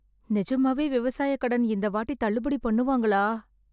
நிஜமாவே விவசாய கடன் இந்தவாட்டி தள்ளுபடி பண்ணுவாங்களா?